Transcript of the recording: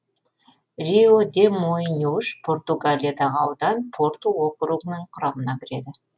риу де моиньюш португалиядағы аудан порту округінің құрамына кіреді